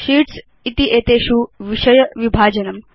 sheets इत्येतेषु विषय विभाजनम्